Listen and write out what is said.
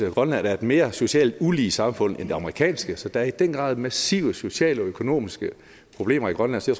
at grønland er et mere socialt ulige samfund end det amerikanske så der er i den grad massive sociale og økonomiske problemer i grønland så